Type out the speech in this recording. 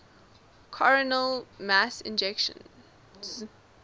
coronal mass ejections